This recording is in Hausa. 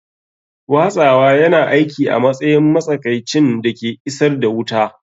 Watsawa yana aiki a matsayin matsakaicin da ke isar da wuta.